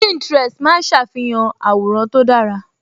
Pininterest máa ń ṣàfihàn àwòrán tó dára